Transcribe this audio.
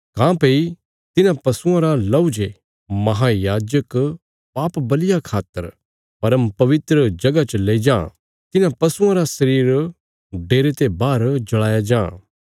काँह्भई तिन्हां पशुआं रा लहू जे महायाजक पाप बल़िया खातर परमपवित्र जगह च लेई जां तिन्हां पशुआं रा शरीर डेरे ते बाहर जल़ाया जां